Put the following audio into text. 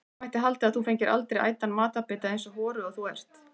Það mætti halda að þú fengir aldrei ætan matarbita, eins horuð og þú ert.